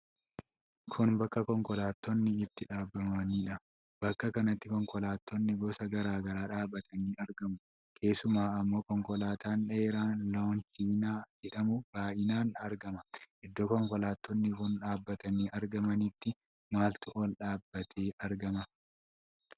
Kun bakka konkolaattonni itti dhaabamaniidha. Bakka kanatti konkolaattonni gosa garaa garaa dhaabatanii argamu. Keessuma ammoo konkolaataan dheeraa 'Loonchinaa' jedhamu baay'inaan argama. Iddoo konkolaattonni kun dhaabatanii argamanitti maaltu ol dhadhaabbatee argama?